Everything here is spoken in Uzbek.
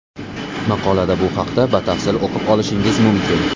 Maqolada bu haqda batafsil o‘qib olishingiz mumkin.